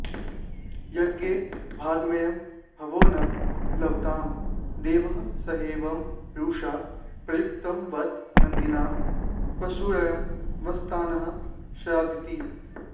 यज्ञे भागमयं भवो न लभतां देवैः सहैवं रुषा प्रत्युक्तं बत नन्दिना पशुरयं बस्ताननः स्यादिति